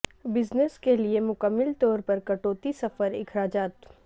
business کے لئے مکمل طور پر کٹوتی سفر اخراجات